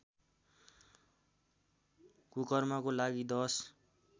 कुकर्मको लागि दश